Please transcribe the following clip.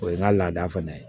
O ye n ka laada fana ye